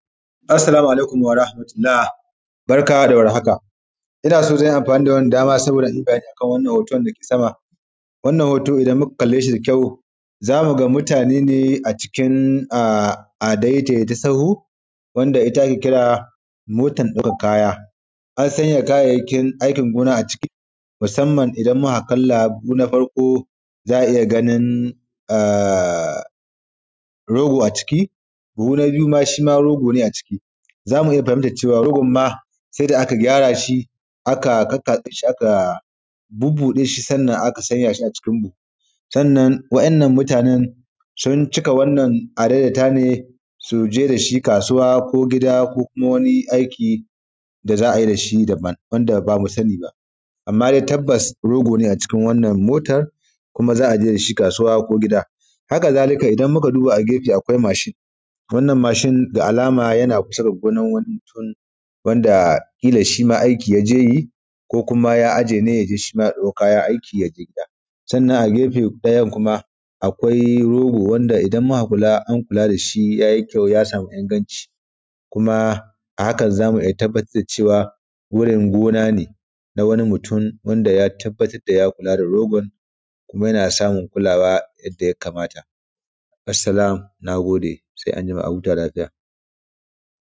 assalamu alaikum warahmatullah barka da war haka ina so zan yi amfani da wannan daman saboda in yi bayani a kan wannan hoton da yake sama wannan hoto idan muka kalle shi da kyau za mu ga mutane ne a cikin adaidaita sahu wanda ita ake kira motan ɗaukan kaya an sanya kayayyakin aikin gona a cikin musamman idan mu ka kalla buhu na farko za a iya ganin rogo a ciki buhu na biyu shi ma rogo ne a ciki za mu iya fahimtan rogon ma sai da aka gyara shi aka kakkatse shi bubbuɗe shi sannan aka sanya shi a cikin buhu sannan wa'innan mutanen sun cika adaidaita ne su je da shi kasuwa ko gida ko kuma wani aiki da za a yi da shi daban wanda ba mu sani ba amman dai tabbas rogo ne a cikin wannan motar kuma za a je da shi kasuwa ko gida haka zalika idan muka duba a gefe akwai mashin wannan mashin da alama yana kusa da gonan wani mutum wanda ƙilan shi ma aiki ya je yi ko kuma ya aje ne ya je shi ma ya ɗau kaya yai aiki ya je gida sannan a gefen ɗayan kuma akwai rogo wanda idan muka kula an kula da shi ya yi kyau ya samu inganci kuma a haka za mu tabbatar da cewa gurin gona ne na wani mutum wanda ya tabbatar da ya kula da rogon kuma yana samun kulawa yadda ya kamata assalam na gode sai an jima a huta lafiya